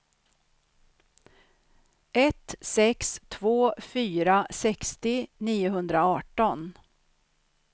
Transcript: ett sex två fyra sextio niohundraarton